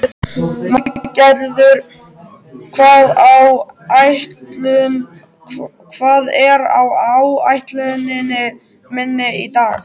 Valgarður, hvað er á áætluninni minni í dag?